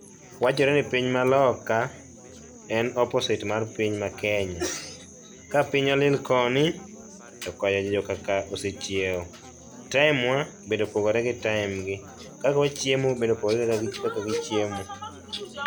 Wachore ni piny maloka en opposite mar piny ma Kenya. Ka piny oling koni to kocha jokaka osechiew. Time wa bende opogore gi time gi. Kaka wachiemo bende opogore gi kaka gichiemo